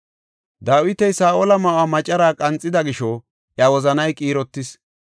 Dawiti Saa7ola ma7uwa macaraa qanxida gisho iya wozanay qiirotis.